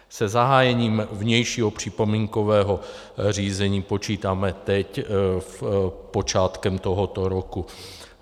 Se zahájením vnějšího připomínkového řízení počítáme teď počátkem tohoto roku.